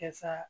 Kasa